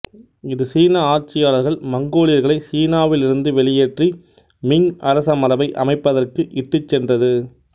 இது சீன ஆட்சியாளர்கள் மங்கோலியர்களை சீனாவில் இருந்து வெளியேற்றி மிங் அரசமரபை அமைப்பதற்கு இட்டுச் சென்றது